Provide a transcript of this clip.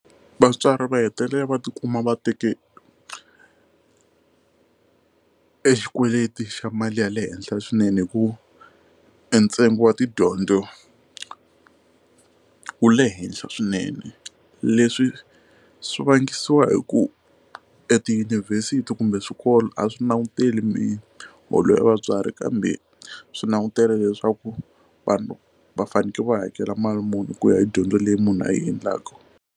Vatswari va hetelela va tikuma va teke exikweleteni xa mali ya le henhla swinene hikuva e ntsengo wa tidyondzo wu le henhla swinene leswi swi vangiwa hi ku etiyunivhesiti kumbe swikolo a swi languteli miholo ya vatswari kambe swi langutele leswaku vanhu va fanekele va hakela mali muni ku ya hi dyondzo leyi munhu a yi endlaka.